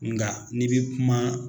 Nka ni bɛ kuma